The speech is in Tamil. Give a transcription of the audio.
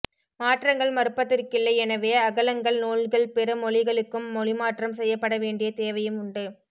மாற்றங்கள் மறுப்பதற்கில்லை எனவே அகளங்கன் நூல்கள் பிற மொழிகளுக்கும் மொழிமாற்றம் செய்யப்பட வேண்டிய தேவையும் உண்டு